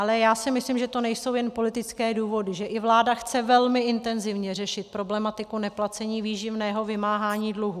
Ale já si myslím, že to nejsou jen politické důvody, že i vláda chce velmi intenzivně řešit problematiku neplacení výživného, vymáhání dluhů.